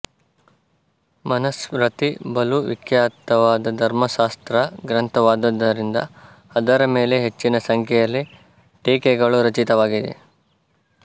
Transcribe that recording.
ಮನಸ್ಮೃತಿ ಬಲು ವಿಖ್ಯಾತವಾದ ಧರ್ಮಶಾಸ್ತ್ರ ಗ್ರಂಥವಾದ್ದರಿಂದ ಅದರ ಮೇಲೆ ಹೆಚ್ಚಿನ ಸಂಖ್ಯೆಯಲ್ಲಿ ಟೀಕೆಗಳೂ ರಚಿತವಾಗಿದೆ